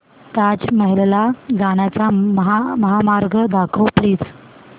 ताज महल ला जाण्याचा महामार्ग दाखव प्लीज